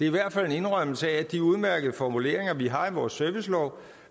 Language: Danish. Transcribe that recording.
i hvert fald en indrømmelse af at de udmærkede formuleringer vi har i vores servicelov